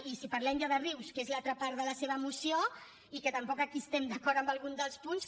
i si parlem ja de rius que és l’altra part de la seva moció i que tampoc aquí estem d’acord amb algun dels punts